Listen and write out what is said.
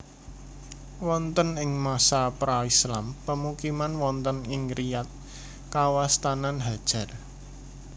Wonten ing masa Pra Islam pemukiman wonten ing Riyadh kawastanan Hajar